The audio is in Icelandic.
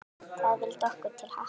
Það vildi okkur til happs.